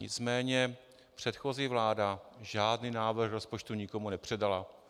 Nicméně předchozí vláda žádný návrh rozpočtu nikomu nepředala.